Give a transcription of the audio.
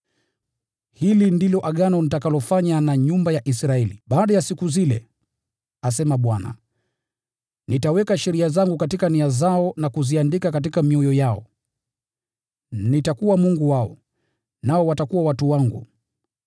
Hili ndilo agano nitakalofanya na nyumba ya Israeli baada ya siku zile, asema Bwana. Nitaziweka sheria zangu katika nia zao na kuziandika mioyoni mwao. Nitakuwa Mungu wao, nao watakuwa watu wangu.